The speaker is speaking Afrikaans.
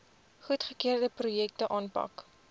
goedgekeurde projekte aanpak